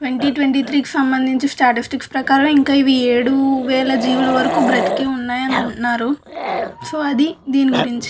Twenty twenty three కి సంబందించి statistics ప్రకారం ఇంకా ఇవి ఏడు వేల జీవుల వరకు బ్రతికె ఉన్నాయి అని అంట్నరు సొ అది దీని గురించి.